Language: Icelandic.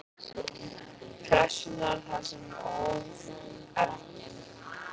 Pressunnar þar sem það óð elginn.